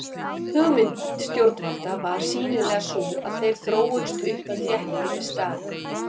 Hugmynd stjórnvalda var sýnilega sú að þeir þróuðust upp í þéttbýlisstaði.